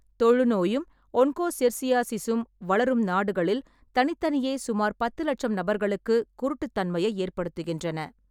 தொழுநோயும் ஒன்கோசெர்சியாசிஸும் வளரும் நாடுகளில் தனித்தனியே சுமார் பத்து லட்சம் நபர்களுக்குக் குருட்டுத்தன்மையை ஏற்படுத்துகின்றன.